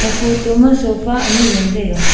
a photo ma sofa anyi ngan taiga.